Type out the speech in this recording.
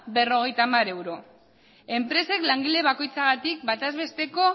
berrogeita hamar euro enpresek langile bakoitzagatik batez besteko